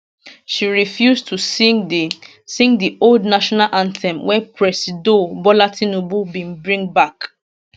she refuse to sing di sing di old national anthem wey presido bola tinubu bin bring bak